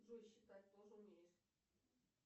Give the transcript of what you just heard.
джой считать тоже умеешь